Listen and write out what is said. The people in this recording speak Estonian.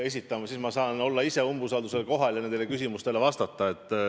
Siis ma saan ise kohal olla ja küsimustele vastata.